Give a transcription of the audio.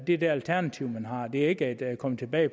er det alternativ man har det er ikke at komme tilbage